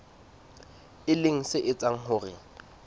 e leng se etsang hore